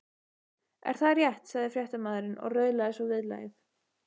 Er það rétt? sagði fréttamaðurinn og raulaði svo viðlagið.